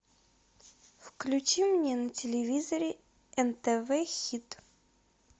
включи мне на телевизоре нтв хит